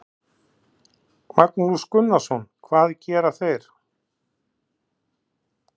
Magnús Gunnarsson: Hvað gera þeir?